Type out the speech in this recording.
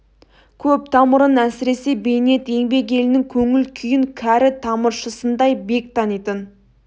көп тамырын әсіресе бейнет еңбек елінің көңіл күйін кәрі тамыршысындай бек танитын